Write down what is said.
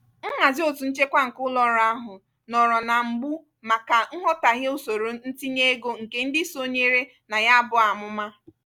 nhazi ọtú nchekwa nke ụlọọrụ ahụ nọọrọ na mgbu maka nghọtahie usoro ntinye ego nke ndị sonyere na ya bụ amụma.